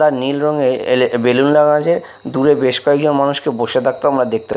তার নীল রঙের এলে বেলুন লাগা আছে দূরে বেশ কয়েকজন মানুষকে বসে থাকতেও আমরা দেখতে--